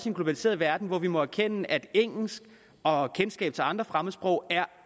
en globaliseret verden og må erkende at engelsk og kendskab til andre fremmedsprog er